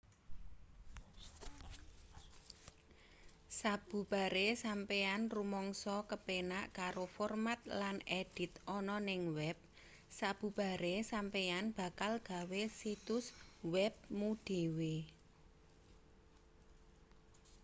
sabubare sampeyan rumangsa kepenak karo format lan edit ana ning web sabubare sampeyan bakal gawe situs web mu dhewe